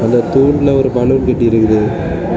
இந்த தூன்ல ஒரு பலூன் கட்டிற்குறைது.